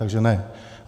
Takže ne.